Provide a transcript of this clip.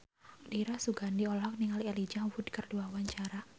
Dira Sugandi olohok ningali Elijah Wood keur diwawancara